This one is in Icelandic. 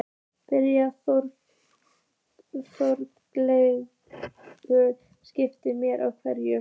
Brynja Þorgeirsdóttir, spyrjandi: Með hverju?